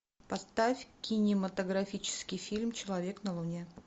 поставь кинематографический фильм человек на луне